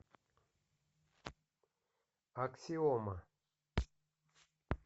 аксиома